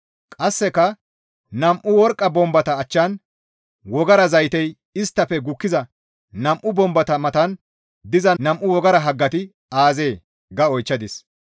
Qasseka, «Nam7u worqqa bombata achchan wogara zaytey isttafe gukkiza nam7u bombata matan diza nam7u wogara haggati aazee?» ga oychchadis.